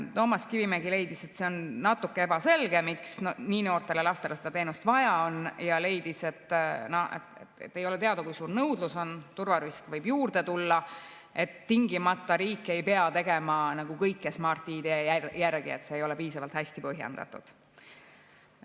Toomas Kivimägi leidis, et see on natuke ebaselge, miks nii väikestel lastel seda teenust vaja on, ja leidis, et ei ole teada, kui suur on nõudlus, turvarisk võib juurde tulla, riik ei pea tegema kõike tingimata Smart‑ID järgi, et see ei ole piisavalt hästi põhjendatud.